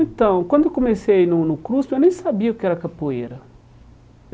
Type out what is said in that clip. Então, quando eu comecei no no CRUSP, eu nem sabia o que era capoeira.